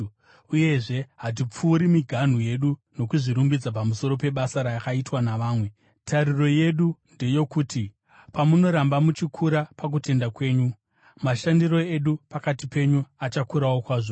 Uyezve hatipfuuri miganhu yedu nokuzvirumbidza pamusoro pebasa rakaitwa navamwe. Tariro yedu ndeyokuti, pamunoramba muchikura pakutenda kwenyu, mashandiro edu pakati penyu achakurawo kwazvo,